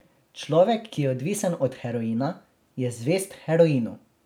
Človek, ki je odvisen od heroina, je zvest heroinu.